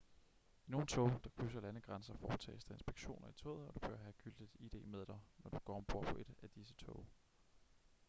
i nogle tog der krydser landegrænser foretages der inspektioner i toget og du bør have gyldigt id med dig når du går ombord på et af disse tog